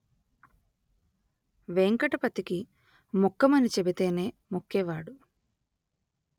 వేంకటపతికి మొక్కమని చెబితేనే మొక్కేవాడు